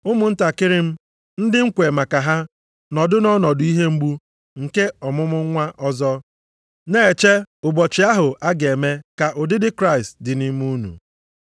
Ụmụntakịrị m, ndị m kwe maka ha nọdụ nʼọnọdụ ihe mgbu nke ọmụmụ nwa ọzọ, na-eche ụbọchị ahụ a ga-eme ka ụdịdị Kraịst dị nʼime unu.